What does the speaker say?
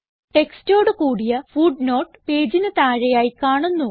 ടെക്സ്റ്റോടു കൂടിയ ഫുട്നോട്ട് പേജിന് താഴെയായി കാണുന്നു